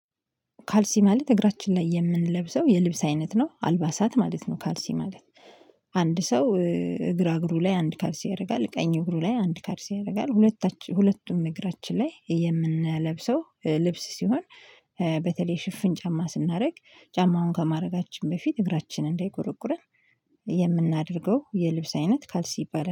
ካልሲ ማለት እግራችን ላይ የምንለብሰው የልብስ አይነት ነው አልባሳት ማለት ነው ካልሲ ማለት። አንድ ሰው እግራ እግሩ ላይ አንድ ካልሲ ያደርጋል ቀኝ እግሩ ላይ አንድ ካልሲ ያደርጋል ሁለቱም እግራችን ላይ የምንለብሰው ልብስ ሲሆን። በተለይ ሽፍን ጫማ ስናደርግ ጫማውን ከማድረጋችን በፊት እግራችን እንዳይቆረቁረን። የምናደርገው የልብስ አይነት ካልሲ ይባላል